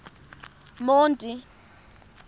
monti